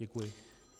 Děkuji.